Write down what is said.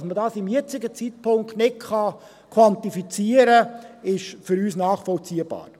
Dass man dies zum jetzigen Zeitpunkt nicht quantifizieren kann, ist für uns nachvollziehbar.